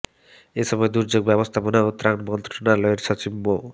এই সময় দুর্যোগ ব্যবস্থাপনা ও ত্রাণ মন্ত্রণালয়ের সচিব মো